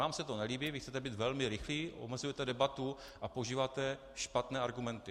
Vám se to nelíbí, vy chcete být velmi rychlí, omezujete debatu a používáte špatné argumenty.